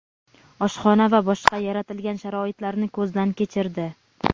oshxona va boshqa yaratilgan sharoitlarni ko‘zdan kechirdi.